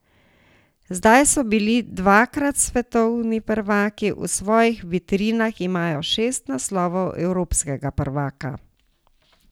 Zdaj so bili dvakrat svetovni prvaki, v svojih vitrinah imajo šest naslovov evropskega prvaka.